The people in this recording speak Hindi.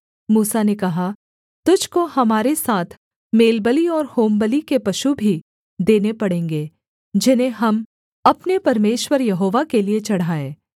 मूसा ने कहा तुझको हमारे हाथ मेलबलि और होमबलि के पशु भी देने पड़ेंगे जिन्हें हम अपने परमेश्वर यहोवा के लिये चढ़ाएँ